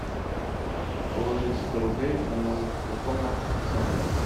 положить сто рублей на номер телефона александра